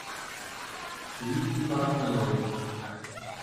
лилии парамоновой